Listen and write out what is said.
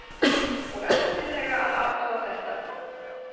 Og endilega að athuga þetta.